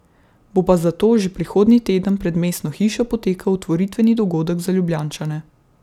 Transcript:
Bo pa zato že prihodnji teden pred mestno hišo potekal otvoritveni dogodek za Ljubljančane.